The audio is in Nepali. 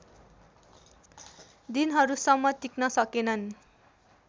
दिनहरूसम्म टिक्न सकेनन्